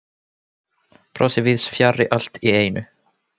Brosið víðs fjarri allt í einu.